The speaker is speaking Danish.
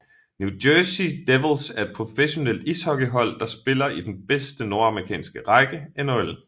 New Jersey Devils er et professionelt ishockeyhold der spiller i den bedste nordamerikanske række NHL